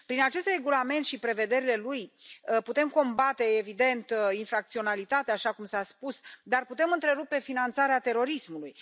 Prin acest regulament și prevederile lui putem combate, evident, infracționalitatea, așa cum s a spus, dar putem întrerupe finanțarea terorismului.